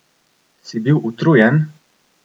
Si bil utrujen?